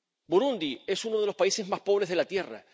Burundi es uno de los países más pobres de la tierra.